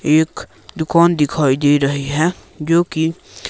एक दुकान दिखाई दे रही है जो की--